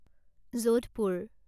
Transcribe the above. Jodhpur